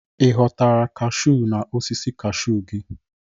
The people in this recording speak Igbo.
Ị ghọtara kaashu na osisi kaashu gị?